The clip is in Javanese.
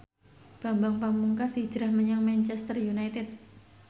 Bambang Pamungkas hijrah menyang Manchester united